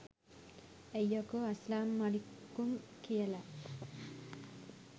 ඇයි යකෝ අස්ලාම් මලික්කුම් කියල